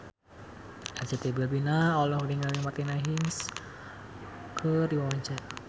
Arzetti Bilbina olohok ningali Martina Hingis keur diwawancara